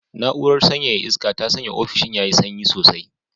Na'urar sanyaya iska ta sanya ofishin yayi sanyi sosai.